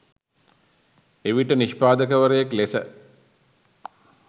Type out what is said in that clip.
එවිට නිෂ්පාදකවරයෙක් ලෙස